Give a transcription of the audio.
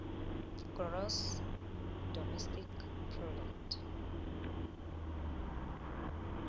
gross domestic product